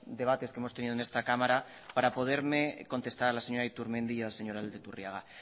debates que hemos tenido en esta cámara para poderme contestar a la señora iturmendi y al señor aldaiturriaga